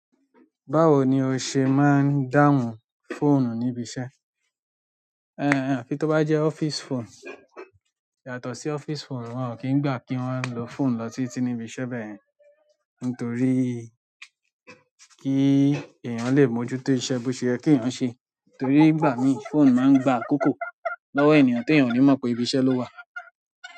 Báwo ni o ṣe máa ń dáhùn fóònù níbi iṣẹ́? Ehn, afi tó bá jẹ́ office phone. Yàtọ̀ sí office phone, wọ́n ò kí ń gbà kí wọ́n lo fóònù lọ titi nibi iṣẹ́ bẹ́yẹ̀n. Nítorí kí èèyàn lè mójútó iṣẹ́ bó ṣe yẹ kèèyàn ṣe. Torí nigbá miií fóònù máa ń gba àkókò lọ́wọ́ ènìyàn tèèyàn ò ní mọ̀ pé ibiṣẹ́ ló wà.